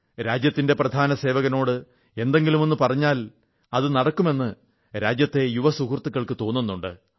രാജ്യത്തിന്റെ പ്രധാനസേവകനോട് എന്തെങ്കിലുമൊന്നു പറഞ്ഞാൽ അത് നടക്കുമെന്ന് രാജ്യത്തെ യുവ സുഹൃത്തുക്കൾക്കും തോന്നുന്നുണ്ട്